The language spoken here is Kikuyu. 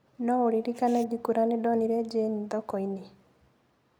No ũririkane ngĩkwĩra nĩ ndonire Jane thoko-inĩ?